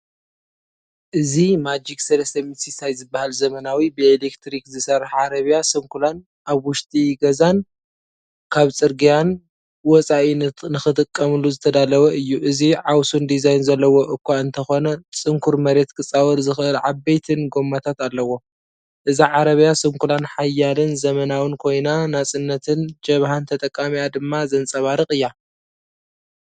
እዚ"ማጂክ 360"ዝበሃል ዘመናዊ፡ብኤሌክትሪክ ዝሰርሕ ዓረብያ ስንኩላን ኣብ ውሽጢ ገዛን ካብ ጽርግያን ወጻኢ ንኽትጥቀመሉ ዝተዳለወ እዩ። እዚ ዓውሱን ዲዛይን ዘለዎ እኳ እንተዀነጽንኩር መሬት ኪጻወር ዚኽእል ዓበይትን ጎማታት ኣለዎ። እዛ ዓረብያስንኩላን ሓያልን ዘመናውን ኮይና፣ ናጽነትን ጀብሃን ተጠቃሚኣ ድማ ዘንጸባርቕ እያ።